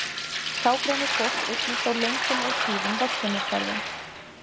Þá greinir fólk einnig frá löngum og tíðum verslunarferðum.